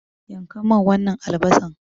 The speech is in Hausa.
Yanka min wannan albasan.